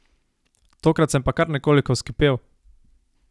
Tokrat sem pa kar nekoliko vzkipel!